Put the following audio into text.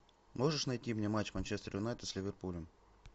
можешь найти мне матч манчестер юнайтед с ливерпулем